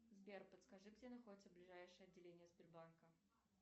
сбер подскажи где находится ближайшее отделение сбербанка